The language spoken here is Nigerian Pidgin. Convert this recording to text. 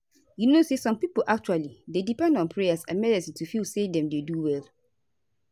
you know say some pipo actually dey depend on prayer and medicine to feel say dem don well